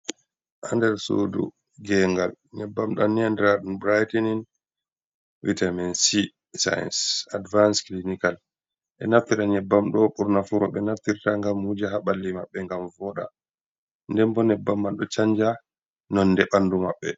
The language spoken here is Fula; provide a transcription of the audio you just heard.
Haa nder sudu gengal, nyebbam ɗam ni adiraaɗum brightening vitamin-c, science advance clinical, ɓe naftita nyebbam ɗo burnaa fu rowɓe naftirta ngam wuja haa ɓalli maɓɓe, ngam vooda, nden bo nyebbam man ɗo canja nonde ɓandu maɓɓe.